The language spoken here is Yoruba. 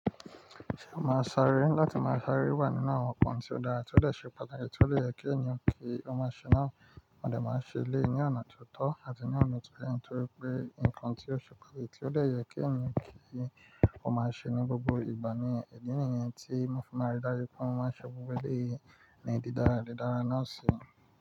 Ṣé màá sáré láti máa sáré wà nínú àwọn nnkan tí ó dára tí ó le ṣe pàtàkì tí ó le yẹ kí ẹ̀yin kí ó máa ṣe náà. Mò dè máa n ṣe lé yí ni ọ̀nà tió tọ́ àti ní ọ̀nà tó yẹ́ torí pé nǹkan tí ó ṣe pàtàkì tí ó de yẹ kí eniyan kí ó máa ṣe ní gbogbo ìgbà ní ìdí nìyẹn tí mo fi máa rí dájú pé mo máa n ṣe gbogbo eleyi ní dí dára, dí dára náà sì.